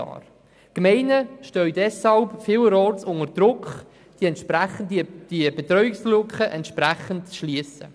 Die Gemeinden stehen deswegen vielerorts unter Druck, die entsprechende Betreuungslücke zu schliessen.